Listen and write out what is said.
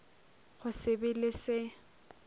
go se be le se